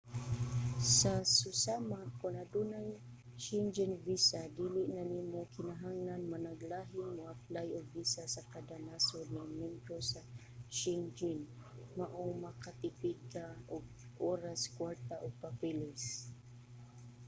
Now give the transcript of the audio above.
sa susama kon adunay schengen visa dili na nimo kinahanglan managlahing moaplay og visa sa kada nasod nga miyembro sa shengen maong makatipid ka og oras kwarta ug papeles